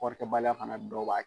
Kɔɔrikɛbaliya fana dɔ b'a kɛ